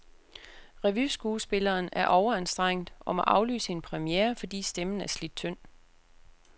Revyskuespilleren er overanstrengt og må aflyse en premiere, fordi stemmen er slidt tynd.